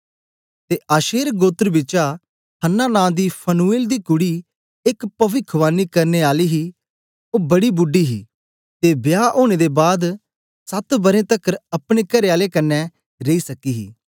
ते आशेर गोत्र बिचा हन्नाह नां दी फनुएल दी कुड़ी एक पविखवाणी करने आली ही ओ बड़ी बूडी ही ते बियाह ओनें दे बाद सत बरें तकर अपने करेआले कन्ने रेई सकी ही